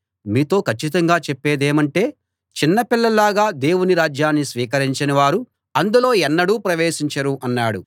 మీతో కచ్చితంగా చెప్పేదేమంటే చిన్న పిల్లల్లాగా దేవుని రాజ్యాన్ని స్వీకరించని వారు అందులో ఎన్నడూ ప్రవేశించరు అన్నాడు